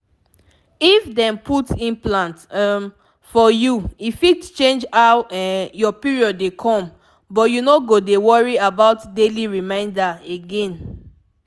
if dem put implant um for you e fit change how um your period dey come — but you no go dey worry about daily reminder again.